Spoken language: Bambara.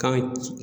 Kan ci